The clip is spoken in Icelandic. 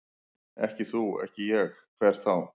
Ekki þú, ekki ég, hver þá?